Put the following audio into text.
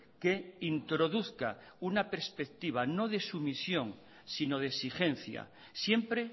que introduzca una perspectiva no de sumisión sino de exigencia siempre